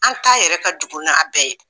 An ta yɛrɛ ka jugu n'a bɛɛ ye !